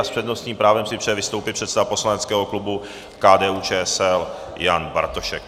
A s přednostním právem si přeje vystoupit předseda poslaneckého klubu KDU-ČSL Jan Bartošek.